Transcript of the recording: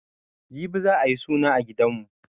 Jibi za'a yi suna a gidanmu.